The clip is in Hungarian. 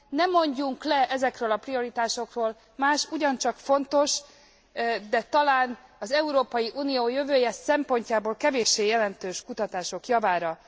Ne mondjunk le ezekről a prioritásokról, más ugyancsak fontos, de talán az Európai Unió jövője szempontjából kevéssé jelentős kutatások javára.